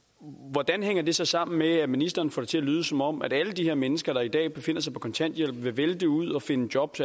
hvordan hænger det så sammen med at ministeren får det til at lyde som om alle de her mennesker der i dag befinder sig på kontanthjælp vil vælte ud og finde job